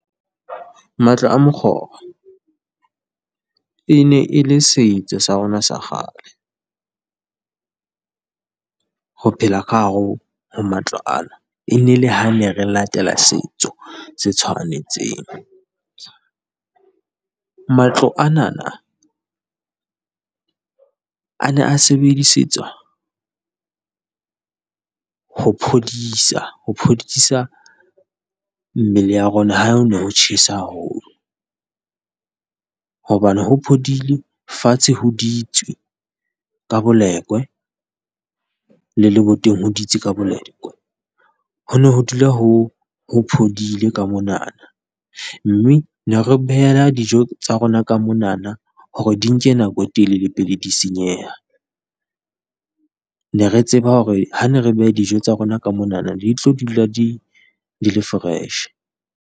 Matlo a mokgoro e ne e le setso sa rona sa kgale. Ho phela ka hare ho matlo ana e ne le ha ne re latela setho se tshwanetseng. Matlo ana a ne a sebedisetswa ho phodisa, ho phodisa mmele ya rona ha hone ho tjhesa haholo, hobane ho phodile, fatshe ho ditswe ka bolekwe le boteng ho ditswe ka bolekwe, ho ne ho dula ho ho phodile ka mona, mme re ne re beha dijo tsa rona ka monana hore di nke nako e telele pele di senyeha. Re ne re tseba hore ha ne re beha dijo tsa rona ka monana, di ne di tlo dula di le fresh.